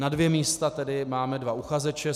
Na dvě místa tedy máme dva uchazeče.